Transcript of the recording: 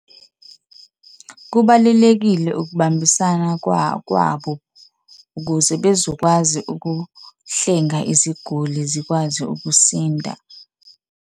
Kubalulekile ukubambisana kwabo ukuze bezokwazi ukuhlenga iziguli zikwazi ukusinda.